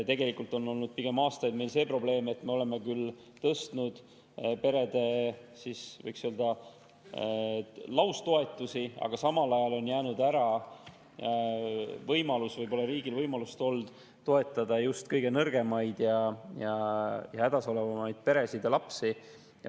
Tegelikult on meil aastaid olnud pigem see probleem, et me oleme küll tõstnud perede, võiks öelda, laustoetusi, aga samal ajal on jäänud ära võimalus või riigil pole olnud võimalust toetada just kõige nõrgemaid ja hädas olevaid peresid ja lapsi.